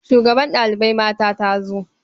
Shugabar ɗalibai mata ta zo.